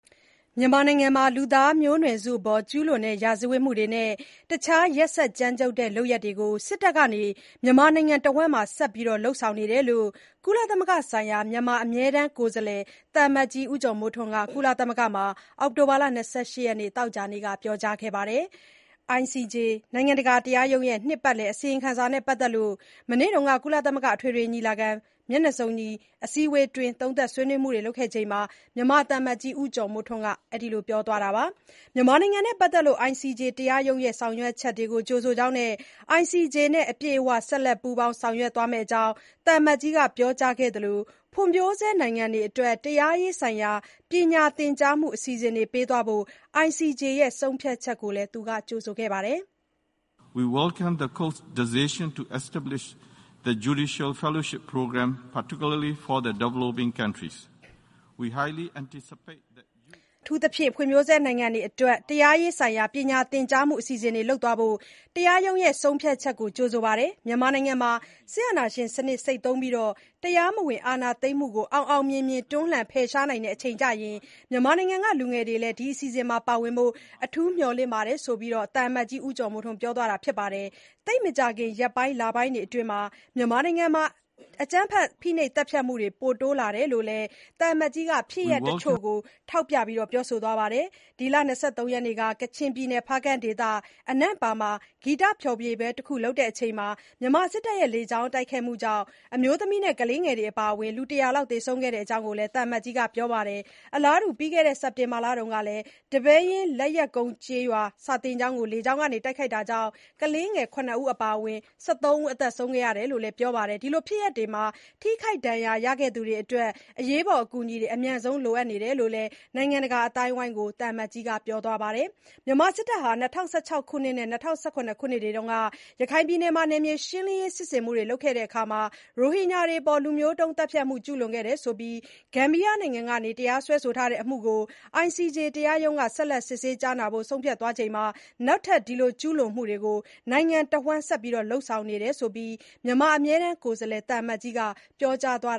မြန်မာနိုင်ငံမှာ လူသားမျိုးနွယ်စုအပေါ်ကျူးလွန်တဲ့ ရာဇဝတ်မှုတွေနဲ့ တခြားရက်စက်ကြမ်းကြုတ်တဲ့လုပ်ရပ်တွေကို စစ်တပ်က မြန်မာနိုင်ငံတဝန်း ဆက်လုပ်နေတယ်လို့ ကုလသမဂ္ဂဆိုင်ရာ မြန်မာအမြဲတမ်းကိုယ်စားလှယ် သံအမတ်ကြီး ဦးကျော်မိုးထွန်းက ကုလသမဂ္ဂမှာ အောက်တိုဘာ ၂၈ ရက် သောကြာနေ့က ပြောကြားခဲ့ပါတယ်။ ICJ နိုင်ငံတကာတရားရုံးရဲ့ နှစ်ပတ်လည်အစီရင်ခံစာနဲ့ပတ်သက်လို့ မနေ့က ကုလသမဂ္ဂ အထွေထွေညီလာခံ မျက်နှာစုံညီ အစည်းအဝေးအတွင်း သုံးသပ်ဆွေးနွေးခဲ့ချိန်မှာ မြန်မာသံအမတ်ကြီး ဦးကျော်မိုးထွန်းက အဲ့ဒီလို ပြောသွားတာပါ။ မြန်မာနိုင်ငံနဲ့ပတ်သက်လို့ ICJ တရားရုံးရဲ့ ဆောင်ရွက်ချက်တွေကို ကြိုဆိုကြောင်းနဲ့ ICJ နဲ့ အပြည့်အဝ ဆက်လက် ပူးပေါင်း ဆောင်ရွက်သွားမယ့်အကြောင်း သံအမတ်ကြီးက ပြောကြားခဲ့သလို ဖွံ့ဖြိုးဆဲနိုင်ငံတွေအတွက် တရားရေးဆိုင်ရာ ပညာသင်ကြားမှု အစီအစဉ်တွေ ပေးသွားဖို့ ICJ ရဲ့ ဆုံးဖြတ်ချက်ကိုလည်း ကြိုဆိုခဲ့ပါတယ်။ “အထူးသဖြင့် ဖွံ့ဖြိုးဆဲနိုင်ငံတွေအတွက် တရားရေးဆိုင်ရာ ပညာသင်ကြားမှုအစီအစဉ်တွေ လုပ်သွားဖို့ တရားရုံးရဲ့ဆုံးဖြတ်ချက်ကို ကြိုဆိုပါတယ်။ မြန်မာနိုင်ငံမှာ စစ်အာဏာရှင်စနစ် ဆိတ်သုဉ်းပြီး တရားမဝင် အာဏာသိမ်းမှုကို အောင်အောင်မြင်မြင် တွန်းလှန်ဖယ်ရှားနိုင်တဲ့အချိန်ကျရင် မြန်မာနိုင်ငံကလူငယ်တွေလည်း ဒီအစီအစဉ်မှာ ပါဝင်ခွင့်ရဖို့ အထူးမျှော်လင့်ပါတယ်။” - ဆိုပြီး သံအမတ်ကြီး ဦးကျော်မိုးထွန်း ပြောသွားတာပါ။ သိပ်မကြာခင် ရက်ပိုင်း လပိုင်းတွေအတွင်း မြန်မာနိုင်ငံမှာ အကြမ်းဖက် ဖိနှိပ်သက်ဖြတ်မှုတွေမှုတွေ ပို တိုးလာတယ်လို့ လည်း သံအမတ်ကြီးက ဖြစ်ရပ်တချို့ကိုထောက်ပြသွားပါတယ်။ ဒီလ ၂၃ ရက်နေ့က ကချင်ပြည်နယ် ဖားကန့်ဒေသ အနန့်ပါရွာမှာ ဂီတ ဖျော်ဖြေပွဲလုပ်နေချိန် မြန်မာစစ်တပ်ရဲ့လေကြောင်းတိုက်ခိုက်မှုကြောင့် အမျိုးသမီးနဲ့ကလေးငယ်တွေ အပါအဝင် လူ ၁၀၀ ခန့် သေဆုံးခဲ့တဲ့အကြောင်း သံအမတ်ကြီးက ပြောပါတယ်။ အလားတူ ပြီးခဲ့တဲ့ စက်တင်ဘာလကလည်း ဒီပဲယင်း လက်ယက်ကုန်းကျေးရွာ စာသင်ကျောင်းကိုလည်း လေကြောင်းက တိုက်ခိုက်တာကြောင့် ကလေးငယ် ၇ ဦး အပါအဝင် ၁၃ ဦး သေဆုံးခဲ့ရတယ်လို့ ပြောပါတယ်။ ဒီလိုဖြစ်ရပ်တွေမှာ ထိခိုက် ဒဏ်ရာရခဲ့သူတွေအတွက် အရေးပေါ် အကူအညီတွေ အမြန်ဆုံး လိုအပ်နေတယ်လို့လည်း နိုင်ငံတကာအသိုင်းအဝိုင်းကို သံအမတ်ကြီးက ပြောသွားပါတယ်။ မြန်မာစစ်တပ်ဟာ ၂၀၁၆ နဲ့ ၂၀၁၇ ခုနှစ်တွေတုန်း ရခိုင်ပြည်နယ်မှာ နယ်မြေ ရှင်းလင်းစစ်ဆင်မှုတွေလုပ်ခဲ့တာမှာ ရိုဟင်ဂျာတွေအပေါ် လူမျိုးတုံးသတ်ဖြတ်မှုကျူးလွန်ခဲ့တယ်လို့ဆိုပြီး ဂမ်ဘီယာနိုင်ငံက တရားစွဲထားတဲ့ အမှုကို ICJ တရားရုံးက ဆက်လက် စစ်ဆေးကြားနာသွားဖို့ ဆုံးဖြတ်ချက်ချထားချိန်မှာ နောက်ထပ် ဒီလိုကျူးလွန်မှုတွေ နိုင်ငံအနှံ့ ဆက်လုပ်နေတယ်လို့ မြန်မာ အမြဲတမ်းကိုယ်စားလှယ် သံအမတ်ကြီးက ပြောကြားသွား